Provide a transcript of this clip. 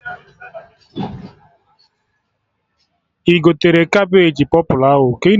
Ị gotere Cabeji pọpụlụ ahụ?